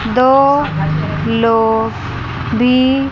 दो लोग भी--